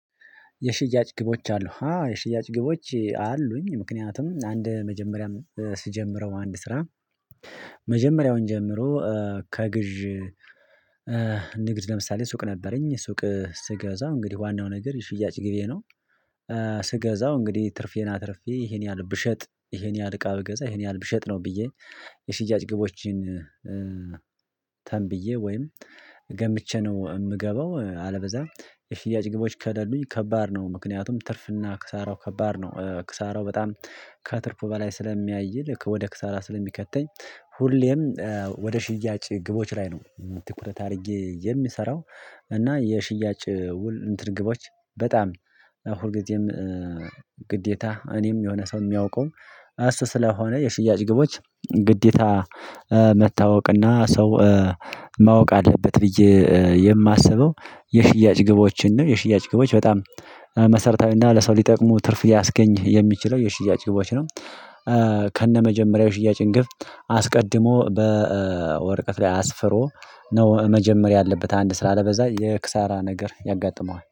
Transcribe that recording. የሽያጭ ግቦች አሉ አዎ የሽያጭ ግቦች አሉኝ ምክንያቱም አንድ መጀመሪያም ስጀምረው አንድ ስራ መጀመሪያውን ጀምሮ ከግዥ ንግድ ለምሳሌ ሱቅ ነበረኝ ሱቅ ስገዛው እንግዲህ ዋናው ነገር የሽያጭ ግቤ ነው። ስገዛው እንግዲህ ትርፌና አትርፌ ይሄን ያህል ብሸጥ ይሄን ያህል እቃ ብገዛ ይሄን ያህል ብሸጥ ነው ብዬ የሽያጭ ግቦችን ተንብዬ ወይም ገምቼ ነው የምገባው። አለበዛ የሽያጭ ግቦች ከደሉኝ ከባድ ነው። ምክንያቱም ትርፍና ክሳራው ከባድ ነው ክሳራው በጣም ከትርፉ በላይ ስለሚያይል ወደ ክሳራ ስለሚከተኝ። ሁሌም ወደ ሽያጭ ግቦች ላይ ነው ትኩረት አድርጌ የሚሰራው። እና የሽያጭ ውል እንትን ግቦች በጣም ሁልጊዜም ግዴታ እኔም የሆነ ሰው የሚያውቀው አስ ስለሆነ የሽያጭ ግቦች ግዴታ መታወቅና ሰው ማወቅ አለበት ብዬ የማስበው። የሽያጭ ግቦችን ነው የሽያጭ ግቦች በጣም መሰረታዊና ለሰው ሊጠቅሙ ትርፍ ሊያስገኝ የሚችለው የሽያጭ ግቦች ነው። ከነመጀመሪያው የሽያጭ ግብ አስቀድሞ በወረቀት ላይ አስፍሮ ነው መጀመሪያ ያለበት አንድ ስራ አለበለዛ የክሳራ ነገር ያጋጥመዋል